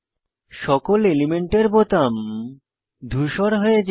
সকল এলিমেন্টের বোতাম ধূসর হয়ে যায়